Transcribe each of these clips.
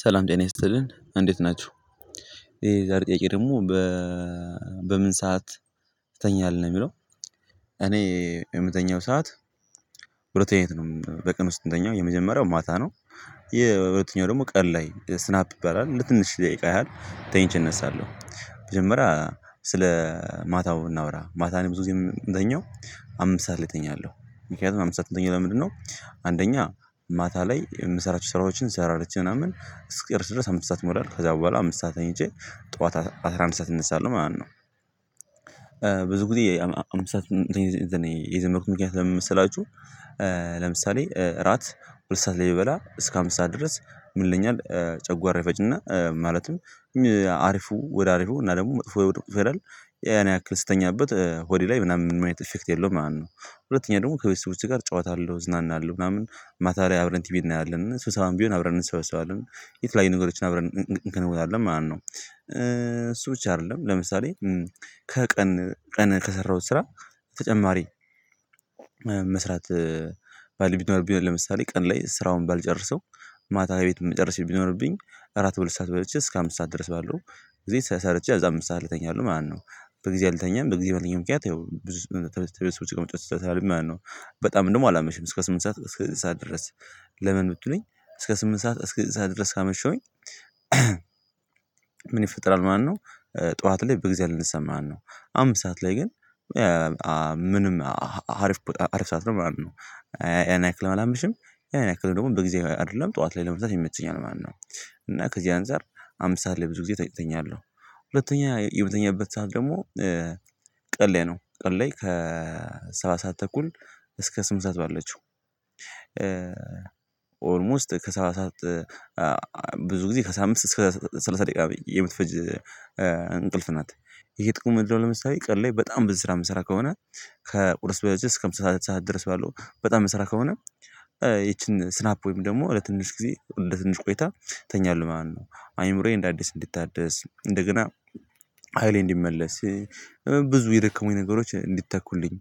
ሰላም ይስጥልን እንዴት ናችሁ ይሄ ዛሬ ጥያቄ ደግሞ በ በምን ሰዓት ትተኛተል ነው የሚለው? እኔ የምተኛው ሰዓት ሁለት ይነት ነው በቅን ውስጥ የመጀመሪያው ማታ ነው። ይሄ በሁለተኛው ደግሞ ቀን ላይ ስናፕ ይባላል ለትንሽ ደቂቃ ያህል ተኝቼ እነሳለሁ። መጀመሪያ ስለ ማታው እናውራ ማታን እኔ ብዙ ጊዜ ምተኛው አምስት ሰዓት ላይ እተኛለሁ። ምክንያቱም አምስት ሰዓት ምተኛው ለምንድነው? አንደኛ ማታ ላይ የምሰራቸውን ስራዎችን ሰራርቸ ምናምን እስክጨርሽ ድረስ አምስት ሰዓት ይሞላል ከዛ በኋላ አምስት ሰዓት ተኝቼ ጠዋት አስራ አንድ ሰዓት እነሳለሁ ማለት ነው። ብዙ ጊዜ አምስት ሰዓት የዘመርኩት ምክንያት ለምሳሌ ስላችሁ። ለምሳሌ እራት ሁለት ሰዓት ላይ ብበበላ እስከ አምስት ሰዓት ድረስ ምን ይለኛል? ጨጓራ ይፈጭና ማለትም ሀሪፉ ወደ አሪፉ እና ደግሞ መጥፎ ወደ ቁጥጥፍ ይላል። ያን ያክል ስተኛበት ሆዴ ላይ ምናምን ምን አይነት ኢፌክት የለውም ማለት ነው። ሁለተኛ ደግሞ ከቤተሰቦቼ ጋር እጫወታለሁ እዝናናለሁ አለው ምናምን ማታ ላይ አብረን ቲቪ እናያለን እና ስብሰባም ቢሆን አብረን እንሰበስባለን። የተለያዩ ነገሮችን አብረን እንከነውታለን ማለት ነው። እሱ ውጪ አይደለም ለምሳሌ ከቀን ቀን ከሰራሁት ስራ። ተጨማሪ መስራት ባልብል ለምሳሌ ቀን ላይ ስራውን ባልጨርሰው። ማታ ቤት የምጨርሰው ቢኖርብኝ እራት ሁለት ሰዓት በልቼ እስከ አምስት ሰዓት ድረስ ባለው ጊዜ ሰርቼ አምስት ሰዓት እተኛለሁ ማለት ነው። በጊዜ አልተኛም በጊዜ በለኝም ምክንያት ያው ብዙ ተበስቶ ተበስቶ ተቀምጫ ተተማሪ። ደግሞ አላመሽም እስከ ስምንት ሰዓት እስከ ስምንት ሰዓት ድረስ። ለምን ብትሉኝ? እስከ ስምንት ሰዓት እስከ ስድስት ሰዓት ድረስ ካመሸሁኝ። ምን ይፈጥራል ማለት ነው። ጠዋት ላይ በጊዜ አልነሳም ማለት ነው። አምስት ሰዓት ላይ ግን ምንም ሀሪፍ ሀሪፍ ሰዓት ነው ማለት ነው። ያን ያክል አላመሽም። ያን ያክል ደግሞ በጊዜ አይደለም ጠዋት ላይ ለመምጣት ይመቸኛል ማለት ነው። እና ከዚህ አንፃር አምስት ሰዓት ላይ ብዙ ጊዜ እተኛለሁ። ሁለተኛ የምተኛበት ሰዓት ደግሞ። ቀን ላይ ነው ቀለይ ከሰባ ሰዓት ተኩል እስከ ስምንት ሰዓት ባለችው አለችው ኦልሞስት ከሰባት ሰዓት። ብዙ ጊዜ ከሳምንት እስከ ስልሳ ደቂቃ የምትፈጅ እንቅልፍ ናት። ይሄ ጥቅም ምንድን ነው? ለምሳሌ ቀን ላይ በጣም ብዙ ስራ የምሰራ ከሆነ። ከቁርስ በልቼ እስከ ምሳ ሰዓት ሰዓት ድረስ ባለው በጣም ምሰራ ከሆነ። ይቺን ስናፕ ወይም ደግሞ ለትንሽ ጊዜ ለትንሽ ቆይታ እተኛለሁ ማለት ነው። አይምሮዬ እንደ አዲስ እንዲታደስ እንደገና ሃይሌ እንዲመለስ። ብዙ የደከሙኝ ነገሮች እንዲተኩልኝ።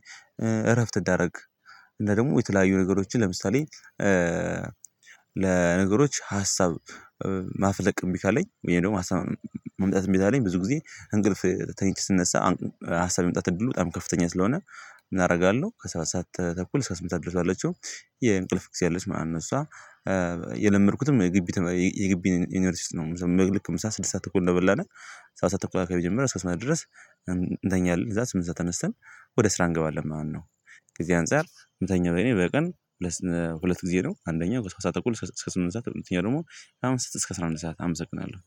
እረፍት አደርጋለሁ። እና ደግሞ የተለያዩ ነገሮችን ለምሳሌ። ለነገሮች ሀሳብ ማፍለቅም እምቢ ካለኝ ወይ? ደግሞ ሀሳብ መምጣት እምብኝ ካለኝ ብዙ ጊዜ እንቅልፍ ተኝቼ ስነሳ። ሀሳብ የመምጣት እድሉ በጣም ከፍተኛ ስለሆነ። ምንአደርጋለሁ ከሰባት ሰዓት ተኩል እስከ ስምንት ሰዓት ድረስ ባለችው። የእንቅልፍ ጊዜ አለች እሷ። የለመድኩትም። የግቢ ዩኒቨርሲቲ ውስጥ ነው ምናምን ልክ ምሳ ስድስት ሰዓት እኮ እንደበላነ። ሰዓት ተኩል አካባቢ ጀመረን ድረስ እንተኛለን እዛ ስምንት ሰዓት ተነስተን ወደ ስራ እንገባለን ማለት ነው። ከዚህ አንፃር ምተኛ በኔ በቀን ሁለት ሁለት ጊዜ ነው አንደኛ እስከ ስምንት ሰዓት እስከ ስምንት ሰዓት ሁለተኛ ደግሞ አምስት እስከ አስራ አንድ ሰዓት አምስት አምስት ሰዓት